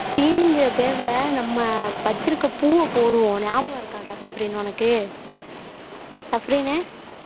தீனிங்கிற பேர்ல நம்ம வச்சிருக்கிற பூவை போடுவோம் ஞாபகம் இருக்காடா ஞாபகம் இருக்காடா சஃப்ரின் உனக்கு சஃப்ரின்னு